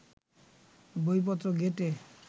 বইপত্র ঘেঁটে